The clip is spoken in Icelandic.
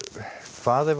hvað ef